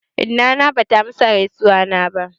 Inna ta bata amsa gaizuwana ba.